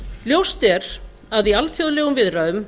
ljóst er að í alþjóðlegum viðræðum